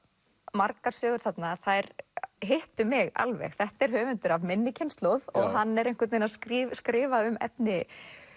margar sögur þarna þær hittu mig alveg þetta er höfundur af minni kynslóð og hann er einhvern veginn að skrifa skrifa um efni